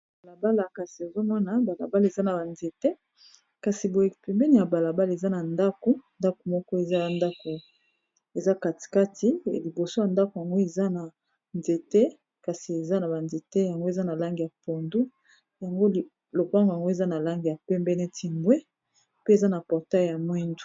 Na balabala lopangu na langi ya longondo n'a Langi ya pembe, portail n'a langi ya mwindu ,ma manzaza ya ndaku na Langi ya motani, na ba nzete ebele.